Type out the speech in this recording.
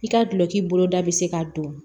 I ka dulonki boloda bɛ se ka don